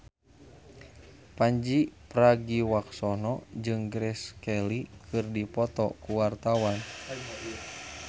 Pandji Pragiwaksono jeung Grace Kelly keur dipoto ku wartawan